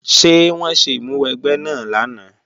Ṣé wọ́n ṣe ìmúwẹgbẹ́ náà lánàá?